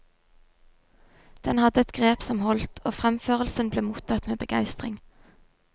Den hadde et grep som holdt, og fremførelsen ble mottatt med begeistring.